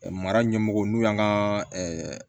Mara ɲɛmɔgɔw n'u y'an ka